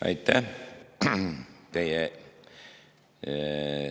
Aitäh!